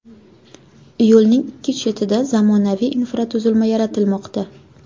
Yo‘lning ikki chetida zamonaviy infratuzilma yaratilmoqda.